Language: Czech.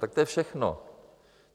Tak to je všechno.